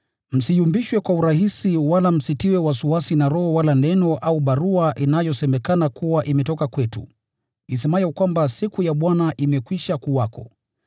msiyumbishwe kwa urahisi wala msitiwe wasiwasi na roho wala neno au barua inayosemekana kuwa imetoka kwetu, isemayo kwamba siku ya Bwana imekwisha kuwako.